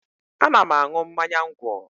Ana m aṅụ mmanya ńgwọ